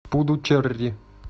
пудучерри